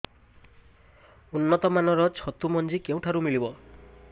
ଉନ୍ନତ ମାନର ଛତୁ ମଞ୍ଜି କେଉଁ ଠାରୁ ମିଳିବ